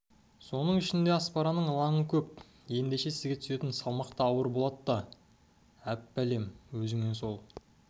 соның ішінде аспараның ылаңы көп ендеше сізге түсетін салмақ та ауыр болад та әб-бәлем өзіңе сол